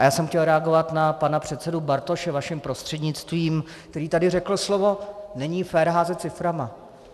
A já jsem chtěl reagovat na pana předsedu Bartoše vaším prostřednictvím, který tady řekl slovo: není fér házet ciframi.